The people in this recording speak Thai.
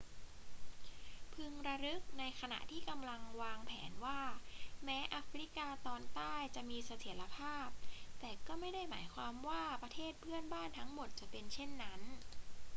พึงระลึกในขณะที่กำลังวางแผนว่าแม้แอฟริกาตอนใต้จะมีเสถียรภาพ แต่ก็ไม่ได้หมายความว่าประเทศเพื่อนบ้านทั้งหมดจะเป็นเช่นนั้น